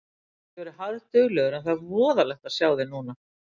Þú getur verið harðduglegur en það er voðalegt að sjá þig núna.